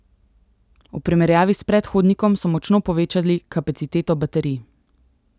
V primerjavi s predhodnikom so močno povečali kapaciteto baterij.